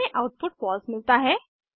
हमें output false मिलता है